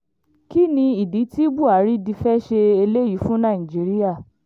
kín ní ìdí tí buhari di fẹ́ẹ́ ṣe eléyìí fún nàìjíra